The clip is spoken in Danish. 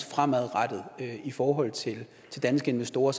fremadrettet i forhold til danske investorer